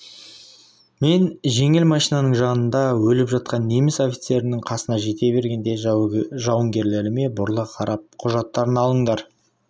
мен жеңіл машинаның жанында өліп жатқан неміс офицерінің қасына жете бере жауынгерлеріме бұрыла қарап құжаттарын алыңдар